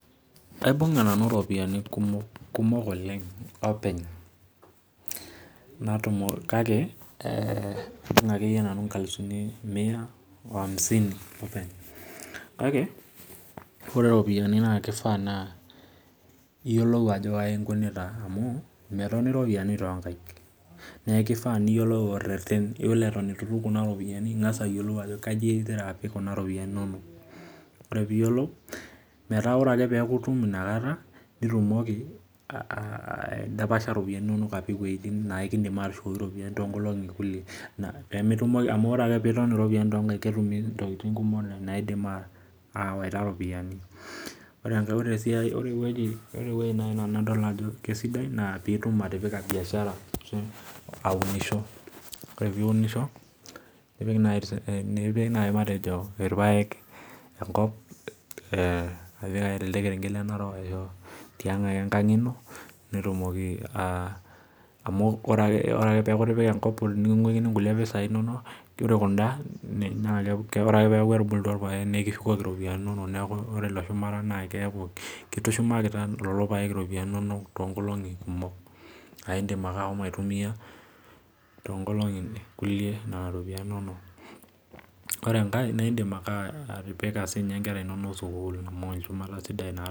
Aibung'a nanu irpoyiani kumok, kumok oleng openy. Kake aibung'a akeyie nanu inkalusuni mia o amisini openy. Kake ore iropiyiani naa kifaa iyiolou ajo kai inkunita amu metoni iropiyiani toonkaik. Neeku ifaa niyiolou orreten, iyiolo eton etu itum kuna ropiyiani ning'as ayiolou ajo kaji igira apik kuna ropiyiani inonok. Ore piiyiolou, metaa ore ake peeku itum inakata, nitumoki aidapasha iropiyiani inonok apik iwueitin naai kiindim aatushukoki iropiyiani toonkolong'i kulie. Amu ore ake peetoni iropiyiani toonkaik naa ketumi ntokiting kumok naidim aawaita iropiyiani. Ore enkae, ore ewueji nadol naai nanu ajo sidai naa piitum atipika biashara ashu aunisho. Ore piiunisho nipik naai matejo irpaek enkop e apik ake tele kerenket le Narok tiang' ake enkang ino nitumoki amu ore ake peeku itipika enkop niking'wikini impesai inonok ore kunda, ore ake peeku etubulutwa irpaek nekishukoki iropiyiani inonok neeku ore ilo shumata naa keeku kitushumakita lelo paek iropiyiani inonok toonkolong'i kumok. Aa iindim ake ashomo aitumia toonkolong'i kulie naa iropiyiani inonok. Ore enkae naa iindim ake atipika siininche nkera inonok sukuul amu olchumata sidai naa